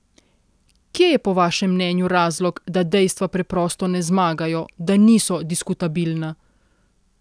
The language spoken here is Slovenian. Kje je po vašem mnenju razlog, da dejstva preprosto ne zmagajo, da niso diskutabilna?